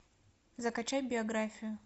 закачай биографию